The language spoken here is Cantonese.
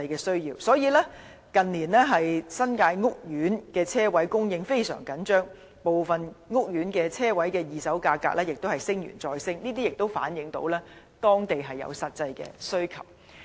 所以，近年新界屋苑的車位供應非常緊張，部分屋苑的車位二手價格亦不斷上升，反映出地區的實際需求。